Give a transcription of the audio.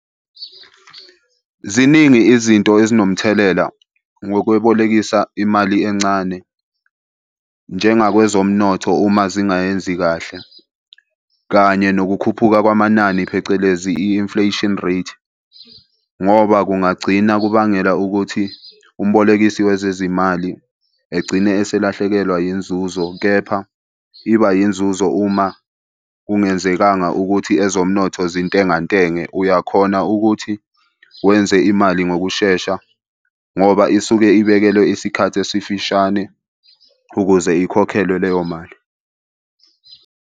Ziningi izinto ezinomthelela ngokwebolekisa imali encane njengakwezomnotho uma zingayenzi kahle, kanye nokukhuphuka kwamanani, phecelezi i-inflation rate, ngoba kungagcina kubangela ukuthi umbolekisi wezezimali egcine eselahlekelwa yinzuzo, kepha iba yinzuzo uma kungenzekanga ukuthi ezomnotho zintengantenge. Uyakhona ukuthi wenze imali ngokushesha ngoba isuke ibekelwe isikhathi esifishane ukuze ikhokhelwe leyo mali.